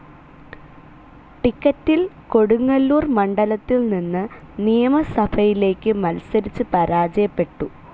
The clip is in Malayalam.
ടിക്കറ്റിൽ കൊടുങ്ങല്ലൂർ മണ്ഡലത്തിൽ നിന്ന് നിയമസഭയിലേക്ക് മത്സരിച്ച് പരാജയപ്പെട്ടു.